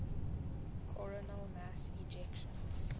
coronal mass ejections